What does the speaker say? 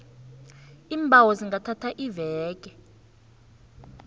iimbawo zingathatha iveke